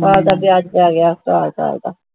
ਸਾਲ ਦਾ ਵਿਆਜ ਪੈ ਗਿਆ ਸਾਲ ਸਾਲ ਦਾ